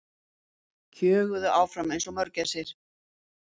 Kjöguðu áfram einsog mörgæsir.